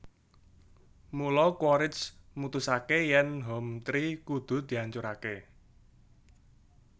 Mula Quaritch mutusaké yèn Hometree kudu diancuraké